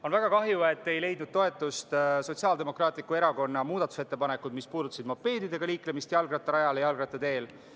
On väga kahju, et ei leidnud toetust Sotsiaaldemokraatliku Erakonna muudatusettepanekud, mis puudutasid mopeediga liiklemist jalgrattarajal ja jalgrattateel.